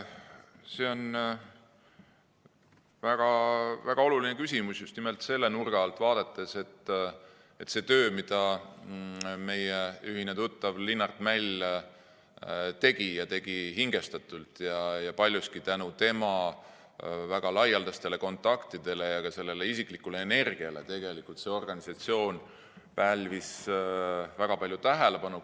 See on väga-väga oluline küsimus just nimelt selle nurga alt vaadates, et seda tööd, mida meie ühine tuttav Linnart Mäll tegi, ta tegi hingestatult ja paljuski tänu tema väga laialdastele kontaktidele ja ka isiklikule energiale tegelikult see organisatsioon pälvis väga palju tähelepanu.